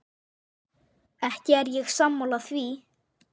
Ekki er ég sammála því.